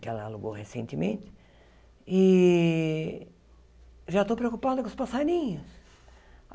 que ela alugou recentemente, e já estou preocupada com os passarinhos.